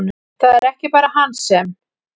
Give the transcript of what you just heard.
Það er ekki bara hann sem!